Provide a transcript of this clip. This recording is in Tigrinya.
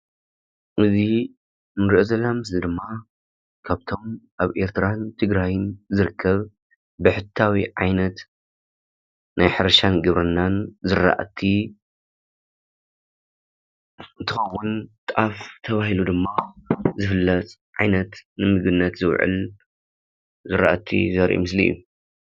እዚ እንሪኦ ዘለና ምስሊ ድማ ካብቶም አብ ኤርትራን ትግራይን ዝርከብ ብሕታዊ ዓይነት ናይ ሕርሻን ግብርናን ዝራእቲ እንትኸውን፤ ጣፍ ተባሂሉ ድማ ዝፍለጥ ዓይነት ንምግቢነት ዝውዕል ዝራእቲ ዘርኢ ምስሊ እዩ፡፡